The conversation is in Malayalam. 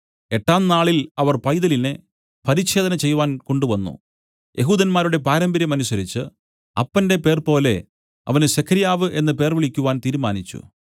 എട്ടാം നാളിൽ അവർ പൈതലിനെ പരിച്ഛേദന ചെയ്‌വാൻ കൊണ്ട് വന്നു യെഹൂദന്മാരുടെ പാരമ്പര്യം അനുസരിച്ചു അപ്പന്റെ പേർപോലെ അവന് സെഖര്യാവ് എന്നു പേർ വിളിക്കുവാൻ തീരുമാനിച്ചു